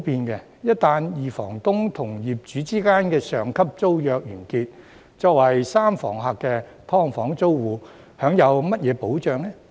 一旦二房東與業主之間的上級租約完結，作為三房客的"劏房"租戶享有甚麼保障呢？